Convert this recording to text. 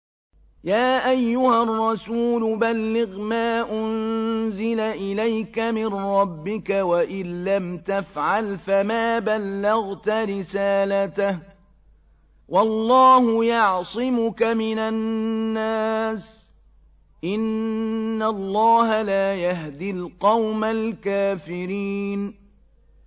۞ يَا أَيُّهَا الرَّسُولُ بَلِّغْ مَا أُنزِلَ إِلَيْكَ مِن رَّبِّكَ ۖ وَإِن لَّمْ تَفْعَلْ فَمَا بَلَّغْتَ رِسَالَتَهُ ۚ وَاللَّهُ يَعْصِمُكَ مِنَ النَّاسِ ۗ إِنَّ اللَّهَ لَا يَهْدِي الْقَوْمَ الْكَافِرِينَ